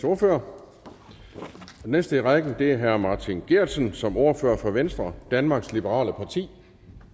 ordfører den næste i rækken er herre martin geertsen som ordfører for venstre danmarks liberale parti